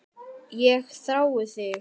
Ég þrái þig